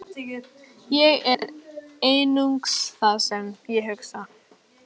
Ég er einungis það sem ég hugsa.